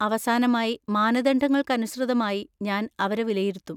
അവസാനമായി, മാനദണ്ഡങ്ങൾക്കനുസൃതമായി ഞാൻ അവരെ വിലയിരുത്തും.